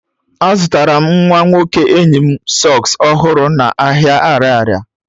Azụtara m nwa nwoke enyi m sọks ọhụrụ n'ahịa ariaria.